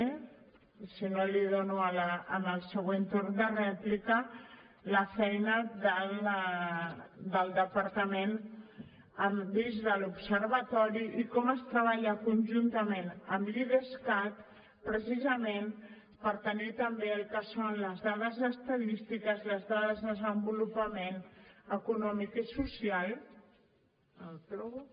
i si no l’hi dono en el següent torn de rèplica la feina del departament dins de l’observatori i com es treballa conjuntament amb l’idescat precisament per tenir també el que són les dades estadístiques les dades de desenvolupament econòmic i social no ho trobo